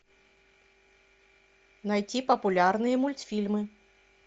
найти популярные мультфильмы